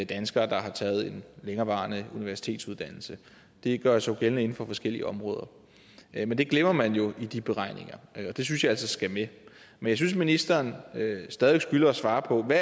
danskere der har taget en længerevarende universitetsuddannelse det gør sig jo gældende inden for forskellige områder men det glemmer man jo i de beregninger det synes jeg altså skal med men jeg synes at ministeren stadig skylder at svare på hvad